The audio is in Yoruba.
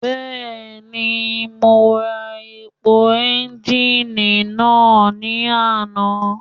Bẹ́ẹ̀ni mo ra epo ẹ́ńgìnì náà ní àná.